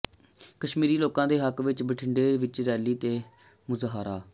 ਕਸ਼ਮੀਰੀ ਲੋਕਾਂ ਦੇ ਹੱਕ ਵਿਚ ਬਠਿੰਡਾ ਵਿਚ ਰੈਲੀ ਤੇ ਮੁਜ਼ਾਹਰਾ